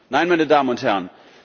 Nein, meine Damen und Herren!